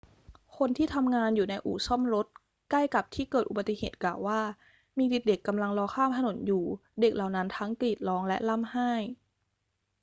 คนที่ทำงานอยู่ในอู่ซ่อมรถใกล้กับที่เกิดอุบัติเหตุกล่าวว่า มีเด็ก ๆ กำลังรอข้ามถนนอยู่ เด็กเหล่านั้นทั้งกรีดร้องและร่ำไห้